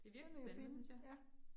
Det må jeg jo finde. Ja